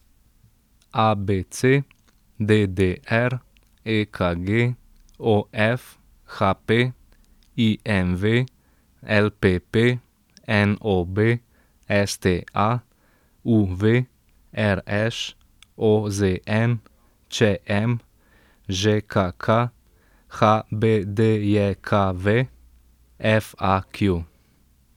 A B C; D D R; E K G; O F; H P; I M V; L P P; N O B; S T A; U V; R Š; O Z N; Č M; Ž K K; H B D J K V; F A Q.